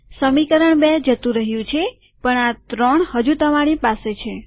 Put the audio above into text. સમીકરણ ૨ જતું રહ્યું છે પણ આ ત્રણ હજુ તમારી પાસે છે